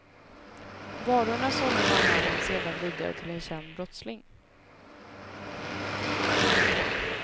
Varorna sålde norrmannen sedan vidare till en känd brottsling.